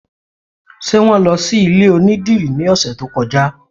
Ṣé wọn lọ sí ilé onídìrí ní ọ̀sẹ̀ tó kọjá?